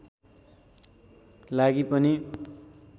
लागि पनि